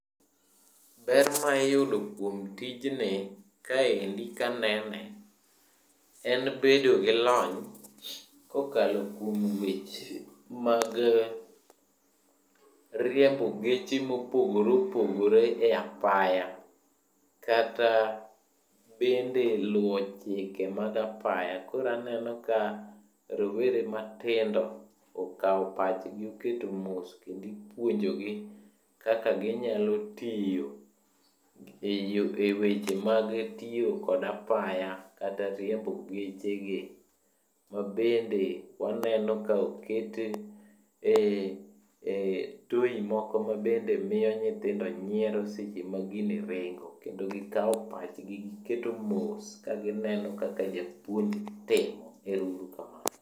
Ber maiyudo kuom tijni kaendi kanene en bedo gi lony kokalo kuom weche mag riembo geche mopogore opogore e apaya, kata bende luwo chike mag apaya. Koro aneno ka rowere matindo okawo pachgi oketo mos, kendo ipuonjogi kaka ginyalo tiyo e weche mag tiyo kod apaya kata riembo geche gi. Ma bende waneno kaokete e toy moko mabende miyo nyithindo nyiero seche ma gini ringo. Kendo gikawo pachgi giketo mos kagineno kaka japuonj timo. Ero uru kamano.